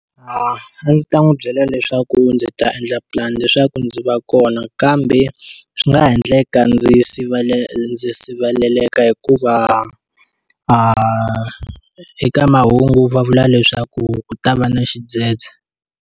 A ndzi ta n'wi byela leswaku ndzi ta endla pulani leswaku ndzi va kona kambe, swi nga ha endleka ndzi ndzi siveleleka hikuva eka mahungu va vula leswaku ku ta va na xidzedze.